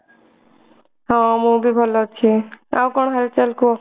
ହଁ ମୁଁ ବି ଭଲ ଅଛି ଆଉ କଣ ହାଲ ଚାଲ କୁହ।